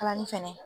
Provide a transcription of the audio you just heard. Kalali fɛnɛ